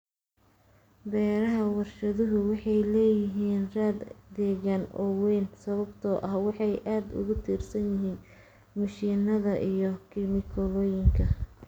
Beeraha warshaduhu waxay leeyihiin raad deegaan oo weyn sababtoo ah waxay aad ugu tiirsan yihiin mishiinada iyo kiimikooyinka.